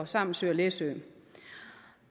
samsø og læsø